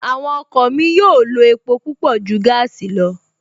Àwọn ọkọ̀ mi yóò lo epo púpọ̀ ju gaasi lọ